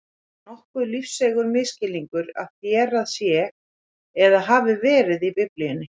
Það er nokkuð lífseigur misskilningur að þérað sé eða hafi verið í Biblíunni.